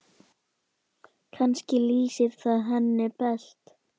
Kannski lýsir það henni best.